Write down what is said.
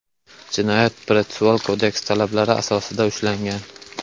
Jinoyat-protsessual kodeks talablari asosida ushlangan.